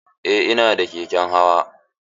Eh ina da keken hawa.